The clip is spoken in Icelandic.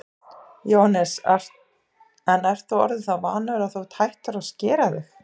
Jóhannes: En þú ert orðinn það vanur að þú ert hættur að skera þig?